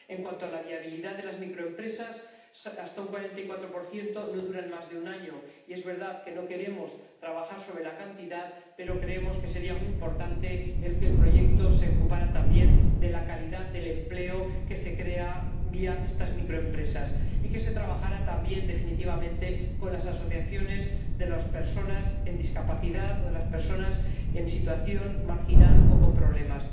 En cuanto a la viabilidad de las microempresas, un 44 no duran más de un año, y es verdad que no queremos trabajar sobre la cantidad, pero creemos que sería muy importante que el proyecto se ocupara también de la calidad del empleo que se crea a través de estas microempresas y que se trabajara también con las asociaciones de personas con discapacidad o de personas en situación marginal o con problemas.